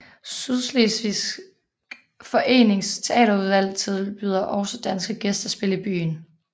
Sydslesvigsk Forenings teaterudvalg tilbyder også danske gæstespil i byen